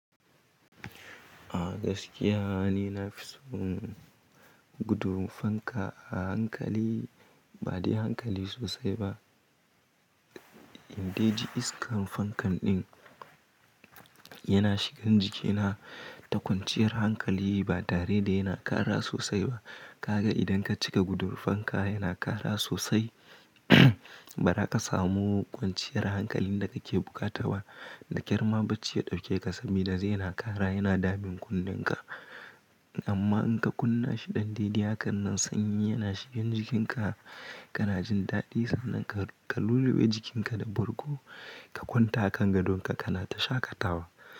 A gaskiya ni na fi son gudun fanka a hankali ba dai hankali sosai ba. In dai ji iskan fankan ɗin yana shigan jikina, ta kwanciyar hankali ba dare da yana ƙara sosai ba. Ka ga idan ka cika gudun fanka yana ƙara sosai, bara ka samu kwanciyar hankalin da kake buƙata ba, da ƙyar ma bacci ya ɗauke ka, saboda zai na ƙara yana damun kunnenka. Amma in ka kunna shi ɗan daidai, hakan nan sanyi yana shigan jikin ka, kana jin daɗi, sannan ka lulluɓe jikin ka da bargo, ka kwanta a kan gadon ka kana ta shaƙatawa.